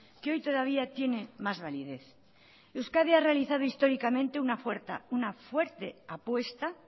que hoy todavía tiene más validez euskadi ha realizado históricamente una fuerte apuesta